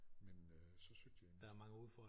Men øh så søgte jeg en